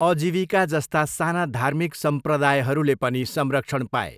अजीविका जस्ता साना धार्मिक सम्प्रदायहरूले पनि संरक्षण पाए।